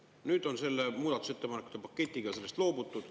Nüüd on selle muudatusettepanekute paketiga sellest loobutud.